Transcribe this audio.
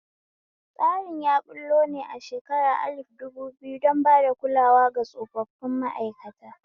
Tsarin a ɓullo ne a shekara alif dubu biyu don bada kulawa ga tsofaffin ma'aikata